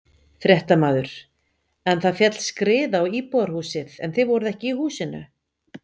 Fréttamaður: En það féll skriða á íbúðarhúsið en þið voruð ekki í húsinu?